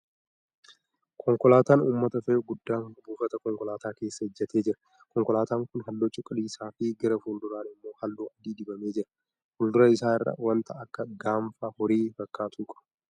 Konkolaataan uummata fe'u guddaan buufata konkolaataa keessa ijjatee jira . Konkolaataan kun halluu cuquliisaa fi gara fuulduraan immoo halluu adii dibamee jira. Fuuldura isaa irraa wanta akka gaanfa horii fakkaatu qaba.